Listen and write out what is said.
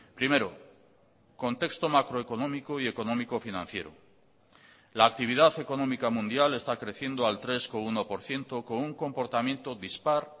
primero contexto macroeconómico y económico financiero la actividad económica mundial está creciendo al tres coma uno por ciento con un comportamiento dispar